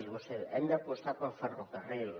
vostè diu hem d’apostar pel ferrocarril